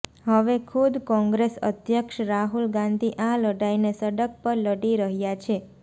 હવે ખુદ કોંગ્રેસ અધ્યક્ષ રાહુલ ગાંધી આ લડાઈને સડક પર લડી રહ્યા છે